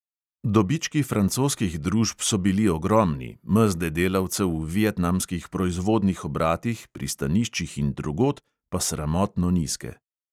Dobički francoskih družb so bili ogromni, mezde delavcev v vietnamskih proizvodnih obratih, pristaniščih in drugod pa sramotno nizke.